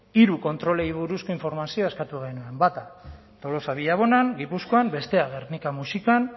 hiru kontrolei buruzko informazioa eskatu genuen bata tolosa villabonan gipuzkoan bestea gernika muxikan